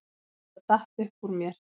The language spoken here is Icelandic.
Þetta datt upp úr mér